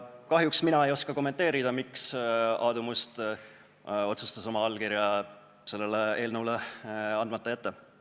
Kahjuks mina ei oska kommenteerida, miks Aadu Must otsustas oma allkirja sellele eelnõule andmata jätma.